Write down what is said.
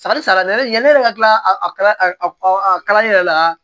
Sanni sara ne yɛrɛ yanni ne yɛrɛ ka tila kalan yɛrɛ la